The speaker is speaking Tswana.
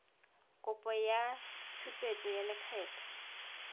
kopo ya tshupetso ya lekgetho